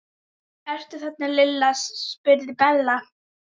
Ertu þarna Lilla? spurði Bella.